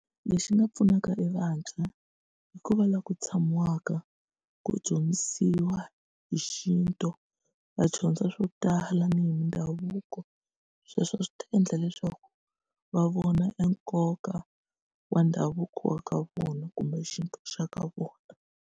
Lexi nga pfunaka evantshwa i ku va laha ku tshamiwaka ku dyondzisiwa hi xintu va dyondza swo tala ni hi mindhavuko sweswo swi ta endla leswaku va vona enkoka wa ndhavuko wa ka vona kumbe xintu xa ka vona.